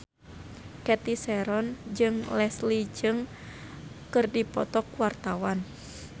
Cathy Sharon jeung Leslie Cheung keur dipoto ku wartawan